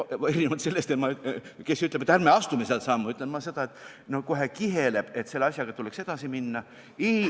Erinevalt sellest, kes ütleb, et ärme astume seda sammu, ütlen ma seda, et kohe kiheleb, selle asjaga tuleks edasi minna.